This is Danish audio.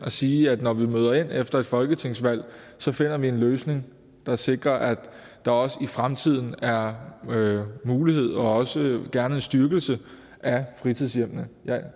sige at når vi møder ind efter et folketingsvalg finder vi en løsning der sikrer at der også i fremtiden er mulighed og også gerne en styrkelse af fritidshjemmene jeg